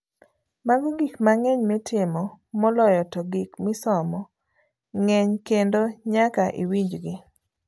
Mago gik mang'eng' mitimo, moloyo to gik misomo ng'eng' kendo nyaka iwinjgi.